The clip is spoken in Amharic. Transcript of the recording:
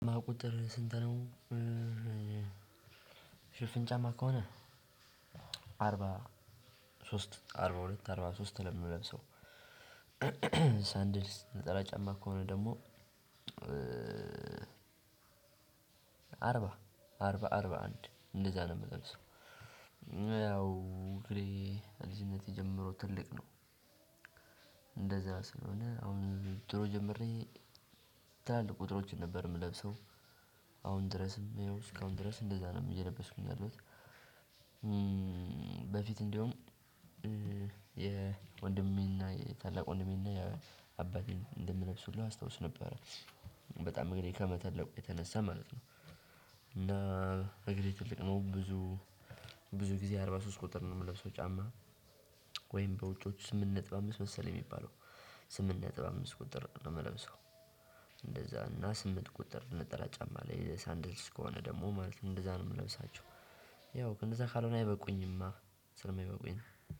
የጫማው ቁጥር ስንት ነው? ሽፍን ጫማ ከሆነ አርባ ሶስት አርባ ሁለት አርባ ሶስት ነው የምለብሰው። ሰንደል ነጠላ ጫማ ከሆነ ደግሞ። አርባ አርባ አርባ አንድ እንደዛ ነው የምለብሰው። ያው እግሬ ከልጅነቴ ጀምሮ ትልቅ ነው። እንደዛ ስለሆነ አሁን ድሮ ጀምሬ ትላልቅ ቁጥሮችን ነበር የምለብሰው። አሁን ድረስም እስካሁን ድረስ እንደዛ ነው እየለበስኩኝ ያለሁት። በፊት እንደውም የወንድሜና የታላቅ ወንድሜና የአባቴን እንደምለብስ ሁሉ አስታውስ ነበር። በጣም እግሬ ከመተለቁ የተነሳ ማለት ነው። እና እግሬ ትልቅ ነው ብዙ ብዙ ጊዜ አርባ ሶስት ቁጥር ነው የምለው ሰው ጫማ። ወይም በውጪዎቹ ስምንት ነጥብ አምስት መሰለኝ የሚባለው ስምንት ነጥብ አምስት ቁጥር ነው የምለብሰው። እንደዛ እና ስምንት ቁጥር ነጠላ ጫማ አለ የሳንደል እስከሆነ ደግሞ ማለት እንደዛ ነው የምለብሳቸው። ያው ከነዛ ካልሆነ አይበቁኝማ ስለማይበቁኝ ነው።